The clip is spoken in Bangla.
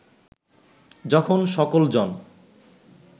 যখন সকল জন